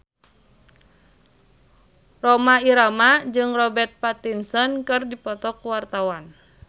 Rhoma Irama jeung Robert Pattinson keur dipoto ku wartawan